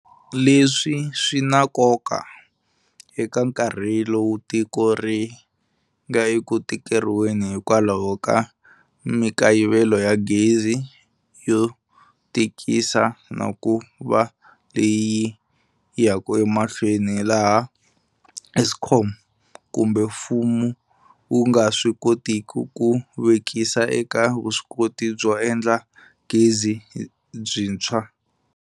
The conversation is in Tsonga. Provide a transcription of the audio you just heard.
Leswi swi na nkoka eka nkarhi lowu tiko ri nga eku tikeriweni hikwalaho ka mikayivelo ya gezi yo tikisa na ku va leyi yaka emahlweni laha Eskom kumbe mfumo wu nga swi kotiki ku vekisa eka vuswikoti byo endla gezi byintshwa.